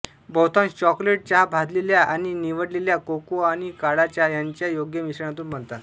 बहुतांश चॉकलेट चहा भाजलेल्या आणि निवडलेल्या कोको आणि काळा चहा ह्यांच्या योग्य मिश्रणातून बनवितात